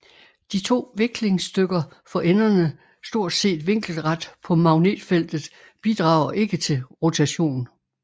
De to viklingsstykker for enderne stort set vinkelret på magnetfeltet bidrager ikke til rotation